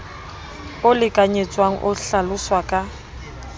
o lekanyetswang o hlaloswa ka